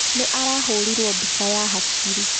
Nĩ arahũrirwo bica ya hakiri.